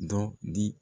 Dɔ di